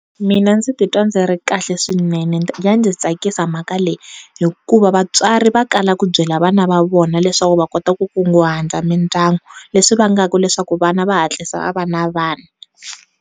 Mina ndzi titwa ndzi ri kahle swinene ya ndzi tsakisa mhaka leyi hikuva vatswari va kala ku byela vana va vona leswaku va kota ku nkunguhata mindyangu leswi vangaka leswaku vana va hatlisa va va na vana.